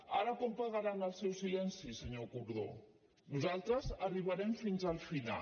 ara com pagaran el seu silenci senyor gordó nosaltres arribarem fins al final